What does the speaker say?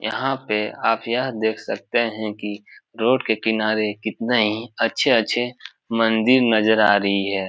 यहाँ पे आप यह देख सकते है की रोड के किनारे कितने ही अच्छे-अच्छे मंदिर नजर आ रही है।